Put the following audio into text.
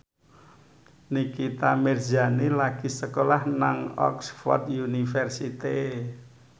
Nikita Mirzani lagi sekolah nang Oxford university